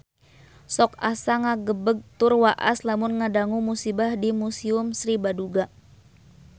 Sok asa ngagebeg tur waas lamun ngadangu musibah di Museum Sri Baduga